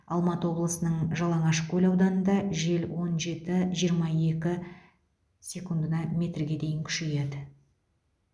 алматы облысының жалаңашкөл ауданында жел он жеті жиырма екі секундына метрге дейін күшейеді